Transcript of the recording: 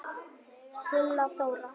Silla Þóra.